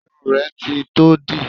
Ṣé irun rẹ ti tó dì?